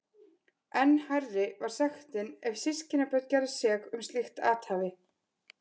Enn hærri var sektin ef systkinabörn gerðust sek um slíkt athæfi.